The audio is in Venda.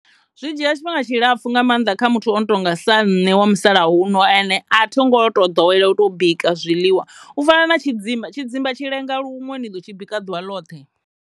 Zwi dzhia tshifhinga tshilapfhu nga mannḓa kha muthu o no tonga sa nṋe wa musalauno ane a tho ngo to ḓowela u tou bika zwiḽiwa u fana na tshidzimba, tshidzimba tshi lenga luṅwe ni ḓo tshi bika ḓuvha ḽoṱhe.